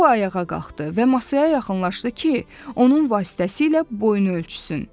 O ayağa qalxdı və masaya yaxınlaşdı ki, onun vasitəsilə boynu ölçsün.